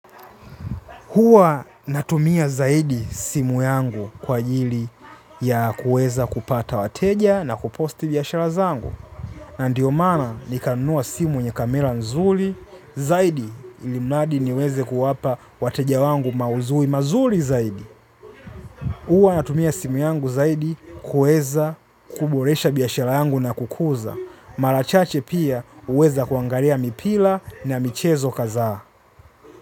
Hua natumia zaidi simu yangu kwa ajili ya kuweza kupata wateja na kuposti biashara zangu. Ndiyo maana nikanunua simu yenye kamera nzuri, zaidi ilimradi niweze kuwapa wateja wangu mauzo mazuri zaidi. Hua natumia simu yangu zaidi kuweza kuboresha biashara yangu na kukuza. Mara chache pia huweza kuangalia mipira na michezo kadhaa.